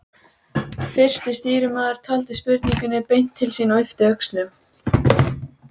Fyrsti stýrimaður taldi spurningunni beint til sín og yppti öxlum.